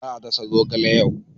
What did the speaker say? Za a dasa zogale yau.